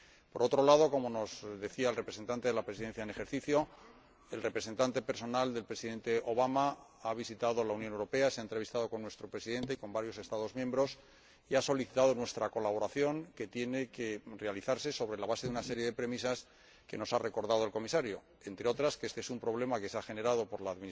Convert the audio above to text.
Por otro lado, como nos decía el representante de la Presidencia en ejercicio del Consejo, el representante personal del Presidente Obama ha visitado la Unión Europea, se ha entrevistado con nuestro Presidente y con varios Estados miembros y ha solicitado nuestra colaboración, que tiene que ofrecerse sobre la base de una serie de premisas que nos ha recordado el Comisario entre otras, que este es un problema generado por el